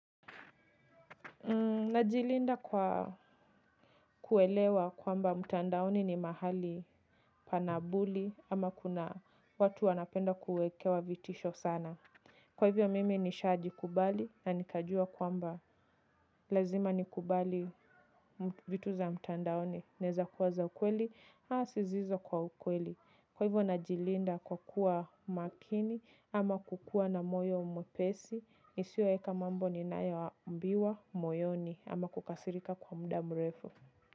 Najilinda kwa kuelewa kwamba mtandaoni ni mahali pana bully ama kuna watu wanapenda kuekewa vitisho sana. Kwa hivyo mimi nishajikubali na nikajua kwamba lazima nikubali vitu za mtandaoni inaeza kuwa za ukweli ama zisizo kwa ukweli. Kwa hivyo najilinda kwa kuwa makini ama kukuwa na moyo mwepesi, nisioeka mambo ninayoambiwa moyoni ama kukasirika kwa muda mrefu.